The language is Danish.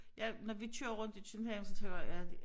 Ja når vi kører rundt i København så tænker jeg bare ja det